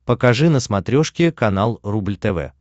покажи на смотрешке канал рубль тв